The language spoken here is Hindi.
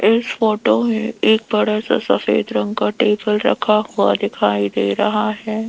इस फोटो में एक बड़ा सा सफेद रंग का टेबल रखा हुआ दिखाई दे रहा है।